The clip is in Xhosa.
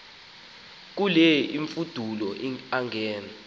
ke imfudulo angen